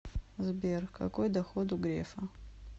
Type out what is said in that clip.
сбер какой доход у грефа